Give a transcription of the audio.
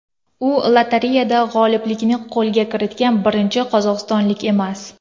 U lotereyada g‘oliblikni qo‘lga kiritgan birinchi qozog‘istonlik emas.